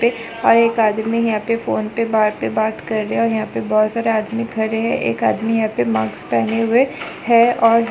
और एक आदमी यहाँ पे फोन पे बात पे बात कर रहा है और यहाँ पे बहोत सारे आदमी खड़े है एक आदमी यहाँ पे माक्स पहने हुए है और --